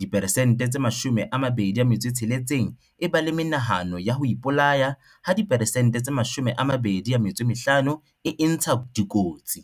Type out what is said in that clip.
diperesente tse 26 e ba le menahano ya ho ipolaya ha diperesente 25 e intsha dikotsi.